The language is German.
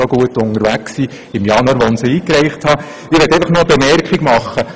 Ich möchte noch eine Bemerkung aus Schulleitungssicht und auch aus Sicht des Sekundarlehrers machen.